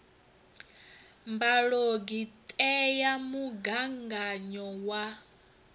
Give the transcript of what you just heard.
mbalogu ṱe ya mugaganyo wa